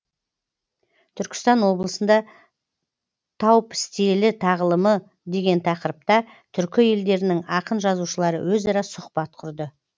түркістан облысында таупістелі тағылымы деген тақырыпта түркі елдерінің ақын жазушылары өзара сұхбат құрды